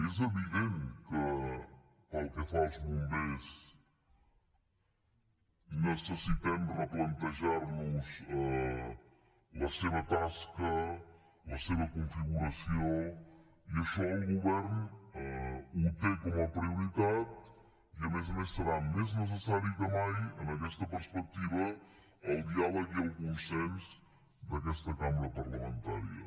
és evident que pel que fa als bombers necessitem replantejar nos la seva tasca la seva configuració i això el govern ho té com a prioritat i a més a més seran més necessaris que mai en aquesta perspectiva el diàleg i el consens d’aquesta cambra parlamentària